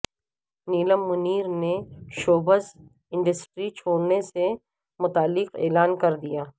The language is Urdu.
نیلم منیر نے شوبز انڈسٹری چھوڑنے سے متعلق اعلان کر دیا